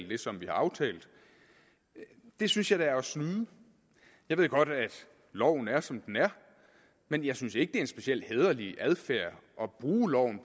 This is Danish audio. det som vi har aftalt det synes jeg da er at snyde jeg ved godt at loven er som den er men jeg synes ikke det er en specielt hæderlig adfærd at bruge loven